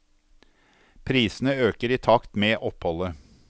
Prisene øker i takt med oppholdet.